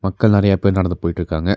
மக்கள் நெறைய பேர் நடந்து போயிட்டுருக்காங்க.